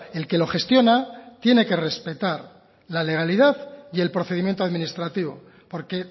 el que lo gestiona tiene que respetar la legalidad y el procedimiento administrativo porque